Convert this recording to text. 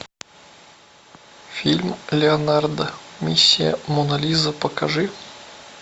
фильм леонардо миссия мона лиза покажи